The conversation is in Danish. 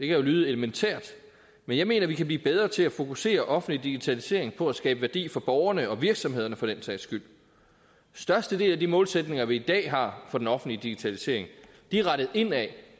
kan jo lyde elementært men jeg mener vi kan blive bedre til at fokusere den offentlige digitalisering på at skabe værdi for borgerne og virksomhederne for den sags skyld størstedelen af de målsætninger vi i dag har for den offentlige digitalisering er rettet indad